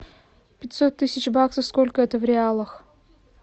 пятьсот тысяч баксов сколько это в реалах